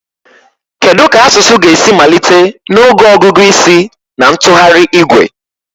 Kedu ka asụsụ ga-esi malite n'oge ọgụgụ isi na ntụgharị igwe